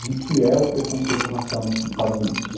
de que é o preconceito racial nos Estados Unidos.